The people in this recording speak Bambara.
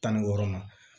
Tan ni wɔɔrɔnan